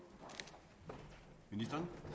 det